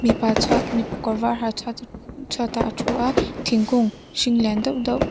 mipa chhuat mipa kawr var ha chhuat chhuatah a thu a thingkung hring lian deuh deuh --